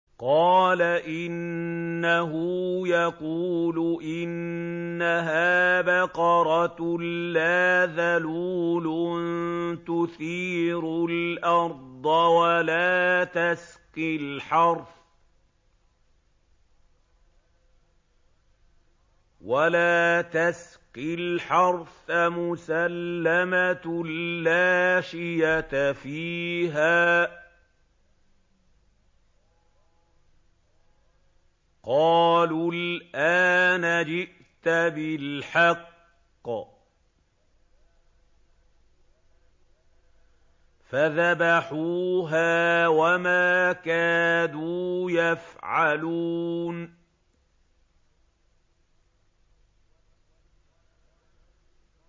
قَالَ إِنَّهُ يَقُولُ إِنَّهَا بَقَرَةٌ لَّا ذَلُولٌ تُثِيرُ الْأَرْضَ وَلَا تَسْقِي الْحَرْثَ مُسَلَّمَةٌ لَّا شِيَةَ فِيهَا ۚ قَالُوا الْآنَ جِئْتَ بِالْحَقِّ ۚ فَذَبَحُوهَا وَمَا كَادُوا يَفْعَلُونَ